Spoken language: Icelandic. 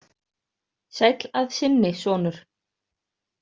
Sæll að sinni, sonur.